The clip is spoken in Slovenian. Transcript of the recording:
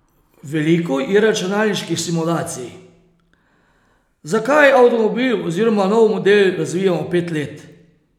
Veliko je računalniških simulacij: "Zakaj avtomobil oziroma nov model razvijamo pet let?